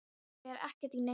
Ég fer ekkert í neinn skóla!